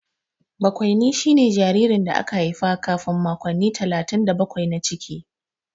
Bakwaini shine jaririn da aka haifa kafin makonni talatin da bakwai na ciki.